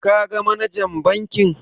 Ka ga manajan bankin?